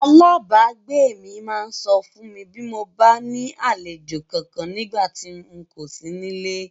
Alábàágbé mi máa sọ fún mi bí mo bá ní àlejò kankan nígbà tí n kò sí nílé.